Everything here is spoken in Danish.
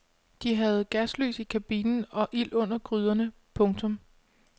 De havde gaslys i kabinen og ild under gryderne. punktum